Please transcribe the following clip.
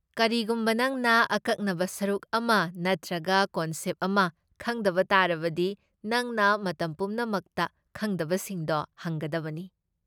ꯀꯔꯤꯒꯨꯝꯕ ꯅꯪꯅ ꯑꯀꯛꯅꯕ ꯁꯔꯨꯛ ꯑꯃ ꯅꯠꯇ꯭ꯔꯒ ꯀꯣꯟꯁꯦꯞ ꯑꯃ ꯈꯪꯗꯕ ꯇꯥꯔꯕꯗꯤ ꯅꯪꯅ ꯃꯇꯝ ꯄꯨꯝꯅꯃꯛꯇ ꯈꯪꯗꯕꯁꯤꯡꯗꯣ ꯍꯪꯒꯗꯕꯅꯤ꯫